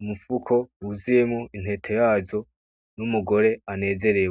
umufuko wuzuyemwo intete yazo n'umugore anezerewe.